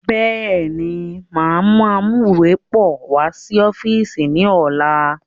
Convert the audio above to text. Bẹ́ẹ̀ni, máa mú amuwepọ̀ wá sí ọ́fíìsì ni ọ̀la.